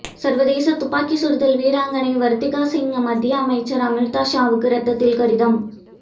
சர்வதேச துப்பாக்கிச் சுடுதல் வீராங்கனை வர்த்திகா சிங் மத்திய அமைச்சர் அமித்ஷாவுக்கு ரத்தத்தில் கடிதம்